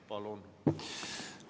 Palun!